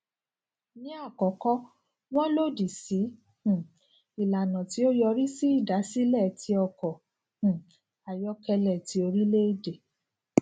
ni akọkọ wọn lodi si um ilana ti o yori si idasile ti ọkọ um ayọkẹlẹ ti orilẹede